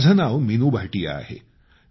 माझं नाव मीनू भाटिया आहे